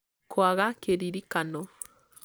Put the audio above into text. kwaga kĩririkano